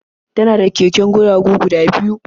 Tana da keken guragu guda biyu.